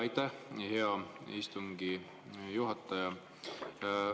Aitäh, hea istungi juhataja!